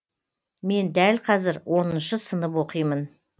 мен дәл қазір оныншы сынып оқимын